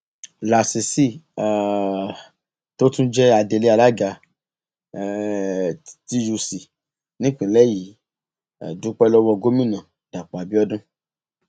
lasisi um tó tún jẹ adelé alága um tuc nípínlẹ yìí dúpẹ lọwọ gómìnà dàpọ abiodun